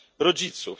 rodziców.